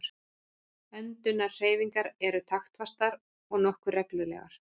Öndunarhreyfingar eru taktfastar og nokkuð reglulegar.